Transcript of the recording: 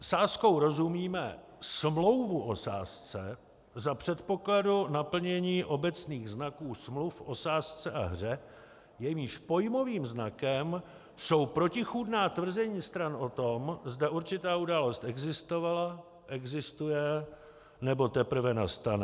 Sázkou rozumíme smlouvu o sázce za předpokladu naplnění obecních znaků smluv o sázce a hře, jejímž pojmovým znakem jsou protichůdná tvrzení stran o tom, zda určitá událost existovala, existuje, nebo teprve nastane.